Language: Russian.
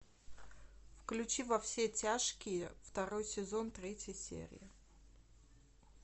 включи во все тяжкие второй сезон третья серия